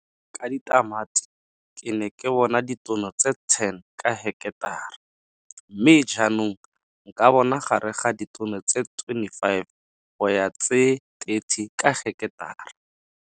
Ka ditamati ke ne ke bona ditono tse 10 ka heketara, mme jaanong nka bona gare ga ditono tse 25 go ya tse 30 ka heketara.